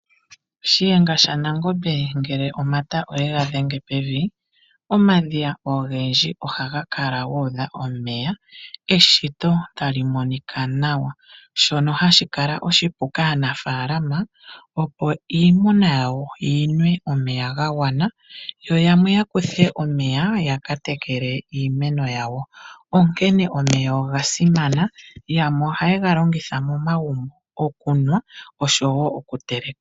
Shiyenga shaNangombe ngele omata oyega dhenge pevi. Omadhiya ogendji ohaga kala guudha omeya eshito tali monika nawa. Shono hashi kala oshipu kaanafalama opo iimuna yawo yinwe omeya gagwana yo yamwe ya kuthe omeya yaka tekele iimeno yawo. Onkene omeya oga simana. Yamwe ohaye ga longitha momagumbo okunwa oshowo okuteleka.